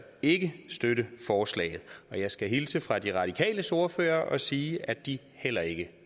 ikke støtte forslaget og jeg skal hilse fra de radikales ordfører og sige at de heller ikke